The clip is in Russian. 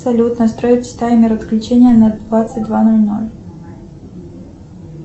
салют настроить таймер отключения на двадцать два ноль ноль